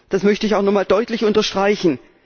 Das möchte ich auch noch einmal deutlich unterstreichen.